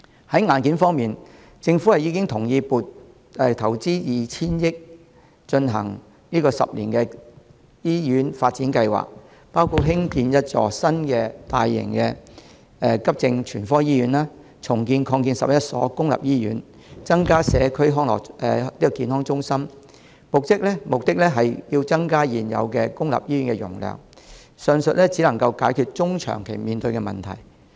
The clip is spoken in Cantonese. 在硬件方面，政府已經同意投放 2,000 億元，推行十年醫院發展計劃，包括興建一所新的大型急症全科醫院，重建及擴建11所公立醫院，增加社區健康中心，目的是增加現有公立醫院的容量，上述只能解決中長期面對的問題。